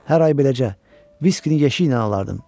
Hər ay beləcə viskini yeşiklə alardım.